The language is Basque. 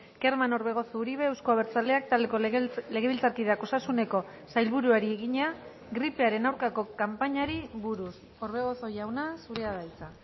kerman orbegozo uribe euzko abertzaleak taldeko legebiltzarkideak osasuneko sailburuari egina gripearen aurkako kanpainari buruz orbegozo jauna zurea da hitza